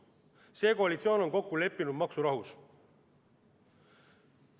See koalitsioon on kokku leppinud maksurahus.